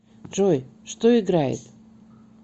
джой что играет